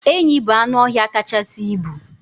Enyi bụ anụọhịa kachasị ibu